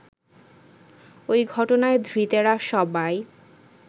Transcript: ওই ঘটনায় ধৃতেরা সবাই